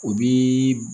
O bi